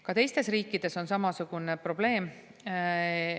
Ka teistes riikides on samasugune probleem.